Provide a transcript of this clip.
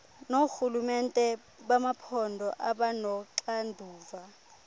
noorhulumente bamaphondo abanoxanduva